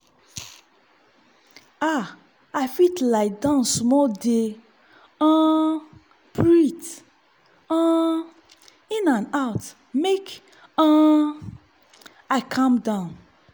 ah i fit lie down small dey um breathe um in and out make um i calm down.